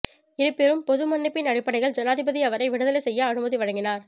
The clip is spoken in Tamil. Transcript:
இருப்பினும் பொதுமன்னிப்பின் அடிப்படையில் ஜனாதிபதி அவரை விடுதலை செய்ய அனுமதி வழங்கினார்